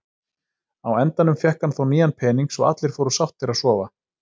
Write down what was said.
Á endanum fékk hann þó nýjan pening svo allir fóru sáttir að sofa.